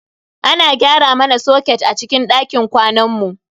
Ana gyara mana soket a cikin dakin kwanan mu.